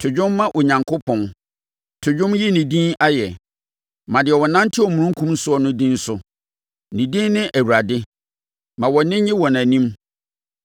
To dwom ma Onyankopɔn, to dwom yi ne din ayɛ. Ma deɛ ɔnante omununkum soɔ no din so. Ne din ne Awurade; ma wʼani nnye wɔ nʼanim.